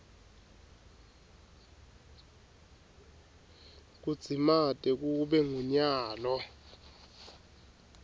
kudzimate kube ngunyalo